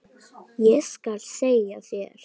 Ég skal segja þér,